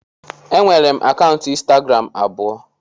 Enwere m akaụntụ ịnstagram abụọ